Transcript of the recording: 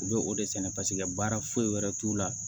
U bɛ o de sɛnɛ paseke baara foyi wɛrɛ t'u la